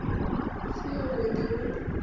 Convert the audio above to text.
i si yavhud i hu